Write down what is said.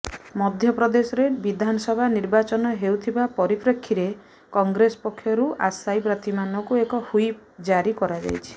ମଧ୍ୟପ୍ରଦେଶରେ ବିଧାନସଭା ନିର୍ବାଚନ ହେଉଥିବା ପରିପ୍ରେକ୍ଷୀରେ କଂଗ୍ରେସ ପକ୍ଷରୁ ଆଶାୟୀ ପ୍ରାର୍ଥୀମାନଙ୍କୁ ଏକ ହ୍ବିପ୍ ଜାରି କରାଯାଇଛି